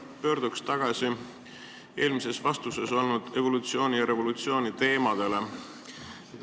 Pöördun tagasi eelmises vastuses kõlanud evolutsiooni ja revolutsiooni teemade juurde.